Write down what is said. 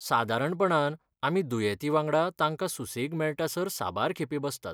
सादारणपणान आमी दुयेंतीवांगडा तांकां सुसेग मेळटासर साबार खेपे बसतात.